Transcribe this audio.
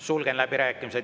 Sulgen läbirääkimised.